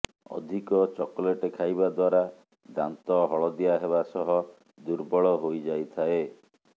ଅଧିକ ଚକୋଲେଟ୍ ଖାଇବା ଦ୍ୱାରା ଦାନ୍ତ ହଳଦିଆ ହେବା ସହ ଦୁର୍ବଳ ହୋଇଯାଇଥାଏ